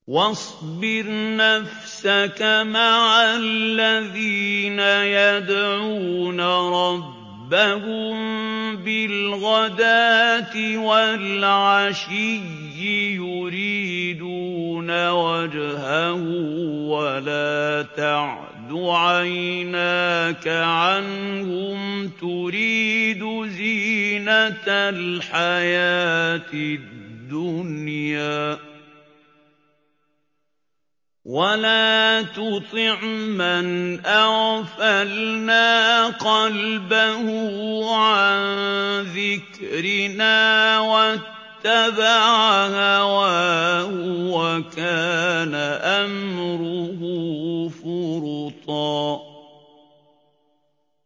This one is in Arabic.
وَاصْبِرْ نَفْسَكَ مَعَ الَّذِينَ يَدْعُونَ رَبَّهُم بِالْغَدَاةِ وَالْعَشِيِّ يُرِيدُونَ وَجْهَهُ ۖ وَلَا تَعْدُ عَيْنَاكَ عَنْهُمْ تُرِيدُ زِينَةَ الْحَيَاةِ الدُّنْيَا ۖ وَلَا تُطِعْ مَنْ أَغْفَلْنَا قَلْبَهُ عَن ذِكْرِنَا وَاتَّبَعَ هَوَاهُ وَكَانَ أَمْرُهُ فُرُطًا